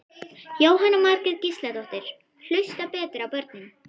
Jóhanna Margrét Gísladóttir: Hlusta betur á börnin?